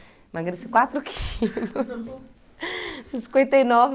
Emagreci quatro quilos. Cinquenta e nove